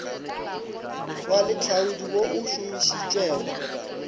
wa lehlaodi wo o šomišitšwego